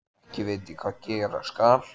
Ekki veit ég hvað gera skal.